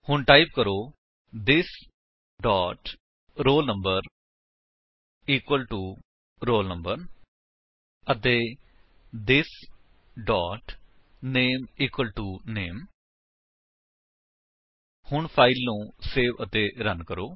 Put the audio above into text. ਹੁਣ ਟਾਈਪ ਕਰੋ this dot roll number equal to roll number ਅਤੇ this dot name equal to name ਹੁਣ file ਨੂੰ save ਅਤੇ ਰਨ ਕਰੋ